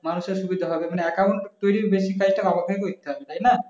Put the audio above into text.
মানুষের সুবিধা হবে মানে account তৈরির benify টা ব্যবহার করতে হবে তাই না